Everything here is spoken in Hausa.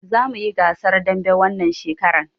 Za muyi gasar dambe wannan shekaran